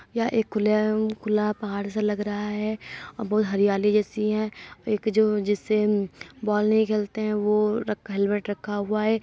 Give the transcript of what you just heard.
यह एक खुले खुला पहाड़ सा लग रहा है। बहुत हरियाली जैसी है। एक जो जिससे बॉल नहीं खेलते हैं वो हेलमेट रखा हुआ है।